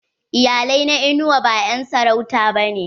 Iyalai na inuwa ba en sarauta ba ne.